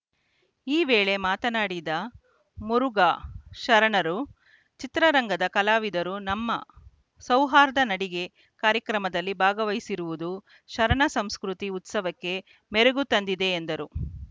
ಈ ವೇಳೆ ಮಾತನಾಡಿದ ಮುರುಘಾ ಶರಣರು ಚಿತ್ರರಂಗದ ಕಲಾವಿದರು ನಮ್ಮ ಸೌಹಾರ್ದ ನಡಿಗೆ ಕಾರ್ಯಕ್ರಮದಲ್ಲಿ ಭಾಗವಹಿಸಿರುವುದು ಶರಣ ಸಂಸ್ಕೃತಿ ಉತ್ಸವಕ್ಕೆ ಮೆರುಗು ತಂದಿದೆ ಎಂದರು